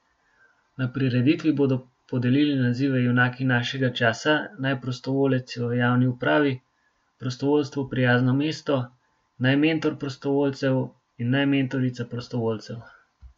Na prireditvi bodo podelili nazive junaki našega časa, naj prostovoljec v javni upravi, prostovoljstvu prijazno mesto, naj mentor prostovoljcev in naj mentorica prostovoljcev.